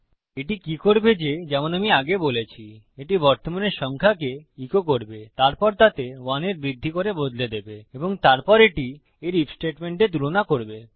এটি কি করবে যে যেমন আমি আগে বলেছিএটি বর্তমানের সংখ্যাকে ইকো করবেতারপর তাতে 1 এর বৃদ্ধি করে বদলে দেবে এবং তারপর এটি এর আইএফ স্টেটমেন্টে তুলনা করবে